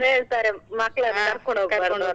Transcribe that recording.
ಕೆಲವರು ಹೇಳ್ತಾರೆ ಮಕ್ಳನ್ನು .